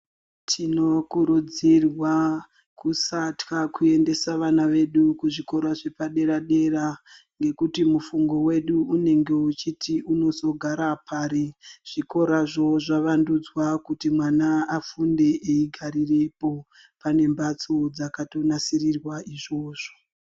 Tinokurudzirwa kusaatya kuendesa vana vedu kuzvikora zvepadera-dera ngekuti mufungo wedu unenge weiti unozogara pari? Zvikorazvo zvavandudzwa kuti mwana afunde eigarapo. Pane mphatso dzakatonasirirwa izvozvo.